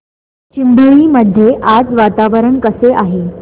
चिंबळी मध्ये आज वातावरण कसे आहे